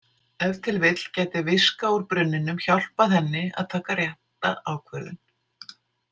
Ef til vill gæti viska úr brunninum hjálpað henni að taka rétta ákvörðun.